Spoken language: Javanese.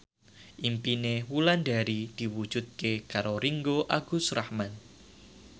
impine Wulandari diwujudke karo Ringgo Agus Rahman